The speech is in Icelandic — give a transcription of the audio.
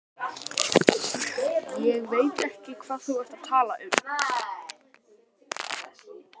Ég veit ekki hvað þú ert að tala um.